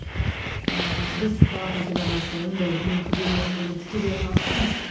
ыыы біз балапан телеарнасы ондай үлкен күрделі мәселелермен тікелей айналыспаймыз